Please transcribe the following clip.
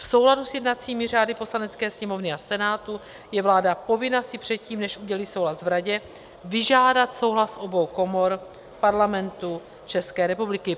V souladu s jednacími řády Poslanecké sněmovny a Senátu je vláda povinna si předtím, než udělí souhlas v Radě, vyžádat souhlas obou komor Parlamentu České republiky.